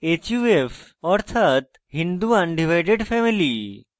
huf অর্থাৎ hindu undivided family